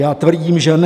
Já tvrdím, že ne!